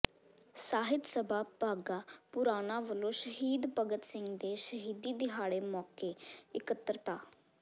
ਸਾਹਿਤ ਸਭਾ ਬਾਘਾ ਪੁਰਾਣਾ ਵਲੋਂ ਸ਼ਹੀਦ ਭਗਤ ਸਿੰਘ ਦੇ ਸ਼ਹੀਦੀ ਦਿਹਾੜੇ ਮੌਕੇ ਇਕੱਤਰਤਾ